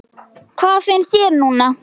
Hvað finnst þér núna?